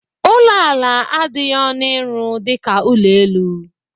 Ụlọ ala adịghị ọnụ ịrụ dịka ụlọ elu.